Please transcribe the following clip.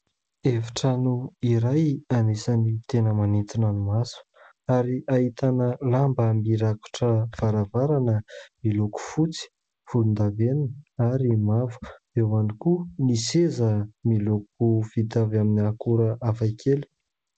Hefitrano iray anisany tena maintona ny maso ary hahitana lamba mirakotra varavarana miloko fotsy volon-davenina ary mavo, eo ihany koa ny seza miloko vita avy amin'ny akora hafakely.